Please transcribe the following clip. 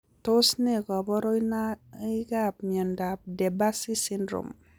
Tos ne kaborunoikap miondop De Barsy syndrome?